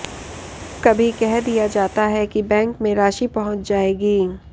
कभी कह दिया जाता है कि बैंक में राशि पहुंच जायेगी